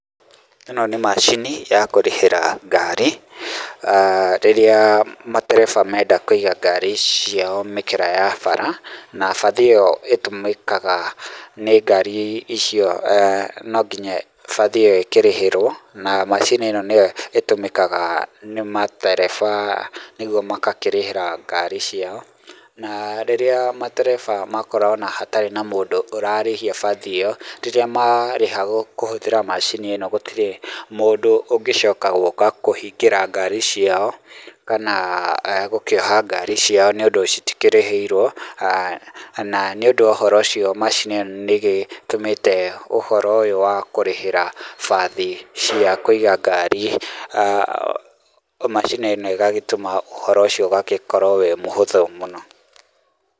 Ĩno nĩ macini ya kũrĩhĩra ngari rĩrĩa matereba menda kũiga ngari ciao mĩkĩra ya bara, na bathi ĩyo ĩtũmĩkaga nĩ ngari icio nonginya bathi ĩyo ĩkĩrĩhĩrwo na macini ĩno nĩyo ĩtũmĩkaga nĩ matereba nĩgwo magakĩrĩhĩra ngari ciao, na rĩrĩa matereba makora ona hatarĩ na mundu ũrarĩhia bathi ĩyo, rĩrĩa marĩha kũhũthĩra macini ĩno gũtirĩ mũndũ ũngĩcoka gũuka kũhingĩra ngari ciao kana gũkĩoha ngari ciao nĩ ũndũ citikĩrĩhĩirwo. Na nĩ ũndũ wa ũhoro ũcio macini ĩno nĩ gĩtũmĩte ũhoro ũyũ wa kũrĩhĩra bathi cia kũiga ngari, macini ĩno ĩgagĩtũma ũhoro ũcio ũgagĩkorwo wĩ mũhũthũ mũno.